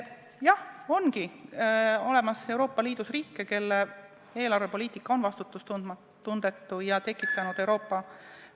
Jah, Euroopa Liidus ongi olemas riike, kelle eelarvepoliitika on vastutustundetu ja on tekitanud Euroopa ...